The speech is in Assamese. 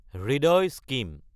হৃদয় স্কিম